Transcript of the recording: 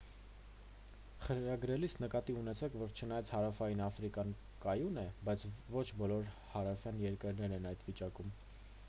խրագրելիս նկատի ունեցեք որ չնայած հարավային աֆրիկան կայուն է բայց ոչ բոլոր հարևան երկրներն են այդ վիճակում